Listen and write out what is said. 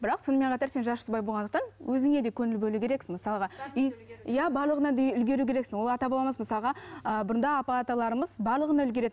бірақ сонымен қатар сен жас жұбай болғандықтан өзіңе де көңіл бөлу керексің мысалға иә барлығына да үлгеру керексің ол ата бабамыз мысалға ы бұрында ата аталарымыз барлығына үлгеретін